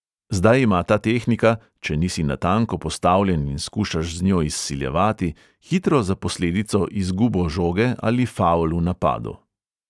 Zdaj ima ta tehnika, če nisi natanko postavljen in skušaš z njo izsiljevati, hitro za posledico izgubo žoge ali favl v napadu.